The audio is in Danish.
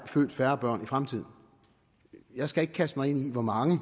født færre børn i fremtiden jeg skal ikke kaste mig ud i hvor mange